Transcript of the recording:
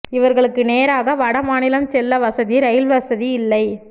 இவர்களுக்கு நேராக வடமாநிலம் செல்ல வசதி ரயில் வசதி இல்லை